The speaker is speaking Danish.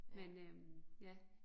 Men øh ja